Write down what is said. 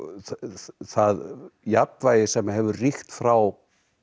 það jafnvægi sem hefur ríkt frá